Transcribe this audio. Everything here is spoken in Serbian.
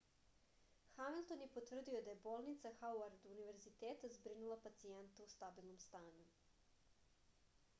hamilton je potvrdio da je bolnica hauard univerziteta zbrinula pacijenta u stabilnom stanju